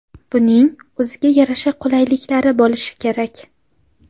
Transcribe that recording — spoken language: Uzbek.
Buning o‘ziga yarasha qulayliklari bo‘lishi kerak.